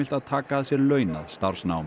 að taka að sér launað starfsnám